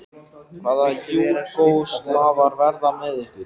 Hvaða Júgóslavar verða með ykkur?